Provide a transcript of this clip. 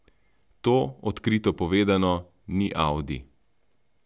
To, odkrito povedano, ni audi.